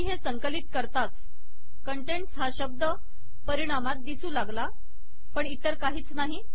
मी हे संकलित करताच कंटेन्टस् हा शब्द परिणामात दिसू लागला पण इतर काहीच नाही